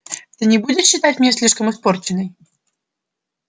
ты не будешь считать меня слишком испорченной